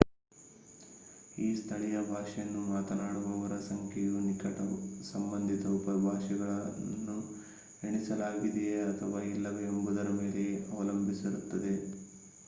ಈ ಸ್ಥಳೀಯ ಭಾಷೆಯನ್ನು ಮಾತನಾಡುವವರ ಸಂಖ್ಯೆಯು ನಿಕಟ ಸಂಬಂಧಿತ ಉಪಭಾಷೆಗಳನ್ನು ಎಣಿಸಲಾಗಿದೆಯೆ ಅಥವಾ ಇಲ್ಲವೇ ಎನ್ನುವುದರ ಮೇಲೆ ಅವಲಂಬಿಸಿರುತ್ತದೆ